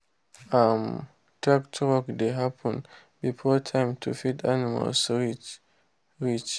we dey rear snail near plantain make e get shade.